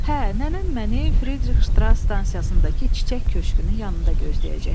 Hə, nənəm məni Fridrix Ştras stansiyasındakı çiçək köşgünün yanında gözləyəcək.